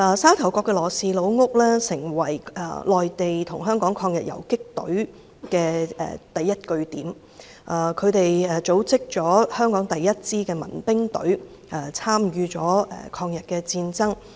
沙頭角的羅氏家族的老屋成為內地與香港抗日游擊隊的第一據點，他們組織了香港第一支民兵隊，參與了抗日戰爭。